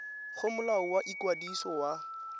go molao wa ikwadiso wa